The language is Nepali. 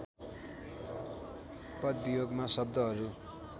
पदवियोगमा शब्दहरू